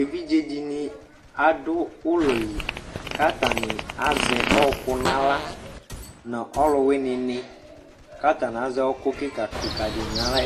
Evidzeɖini aɖʋ ʋlɔli k'atani azɛ ɔkʋ n'aɣlaƆlʋwini k'atani azɛ ɔkʋ kikakikaɖini n'aɣla